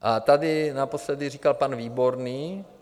A tady naposledy říkal pan Výborný...